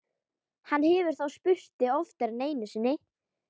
Hann hefur þá spurt þig oftar en einu sinni?